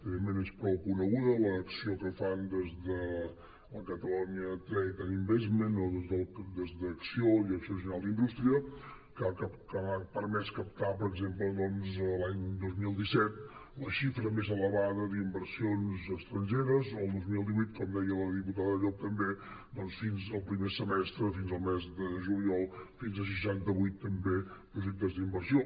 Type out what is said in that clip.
evidentment és prou coneguda l’acció que fan des de catalonia trade and investment o des d’acció a la direcció general d’indústria que ha permès captar per exemple doncs l’any dos mil disset la xifra més elevada d’inversions estrangeres o el dos mil divuit com deia la diputada llop també fins al primer semestre fins al mes de juliol fins a seixanta vuit també projectes d’inversió